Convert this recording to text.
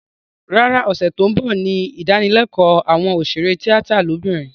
Rárá, ọ̀sẹ̀ tó ń bọ̀ ní ìdánilékòó àwọn òṣèré tíátà lóbìnrin